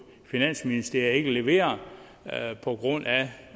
finansministeriet ikke levere på grund af